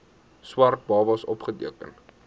swart babas opgeteken